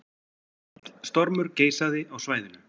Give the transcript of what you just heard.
Mikill stormur geisaði á svæðinu